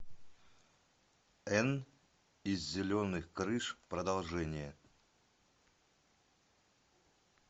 энн из зеленых крыш продолжение